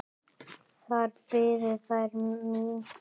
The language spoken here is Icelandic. Þar biðu þær mín.